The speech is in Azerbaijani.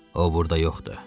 O burda yoxdur.